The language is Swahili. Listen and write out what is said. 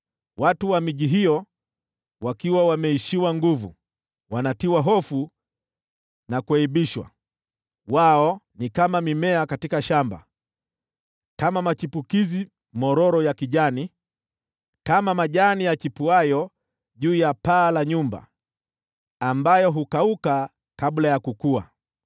Watu wa miji hiyo wameishiwa nguvu, wanavunjika mioyo na kuaibishwa. Wao ni kama mimea katika shamba, kama machipukizi mororo ya kijani, kama majani yachipuayo juu ya paa la nyumba, ambayo hukauka kabla ya kukua.